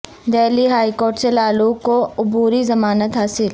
Delhi high court سے لالو کو عبوری ضمانت حاصل